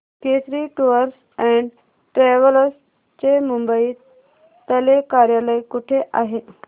Kesari tours and travels चे मुंबई तले कार्यालय कुठे आहे